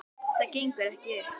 Það gengur ekki upp.